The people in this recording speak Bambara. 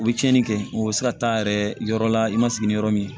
U bɛ tiɲɛni kɛ u bɛ se ka taa yɛrɛ yɔrɔ la i ma sigi ni yɔrɔ min ye